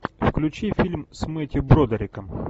включи фильм с мэттью бродериком